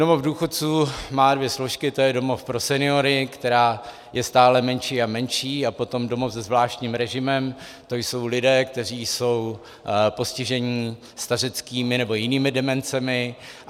Domov důchodců má dvě složky, to je domov pro seniory, která je stále menší a menší, a potom domov se zvláštním režimem, to jsou lidé, kteří jsou postiženi stařeckými nebo jinými demencemi.